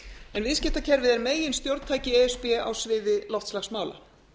en viðskiptakerfið er meginstjórntæki e s b á sviði loftslagsmála